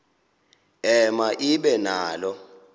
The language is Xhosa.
ema ibe nalo